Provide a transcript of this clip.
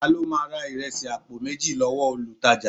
Ta ló ma ra ìrẹsì àpò méjì lọ́wọ́ olutaja